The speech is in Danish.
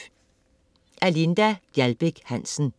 Af Linda Gjaldbæk Hansen